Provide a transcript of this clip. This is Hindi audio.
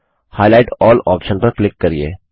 हाइलाइट अल्ल ऑप्शन पर क्लिक करिये